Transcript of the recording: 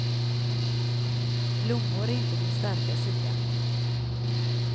Blommor är inte min starka sida.